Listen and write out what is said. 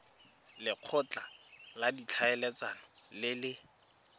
lekgotla la ditlhaeletsano le le